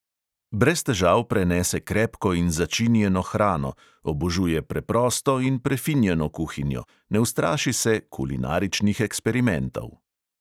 Brez težav prenese krepko in začinjeno hrano, obožuje preprosto in prefinjeno kuhinjo, ne ustraši se kulinaričnih eksperimentov.